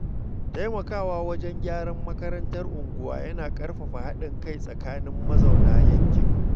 Taimakawa wajen gyaran makarantar unguwa yana ƙarfafa haɗin kai tsakanin mazauna yankin.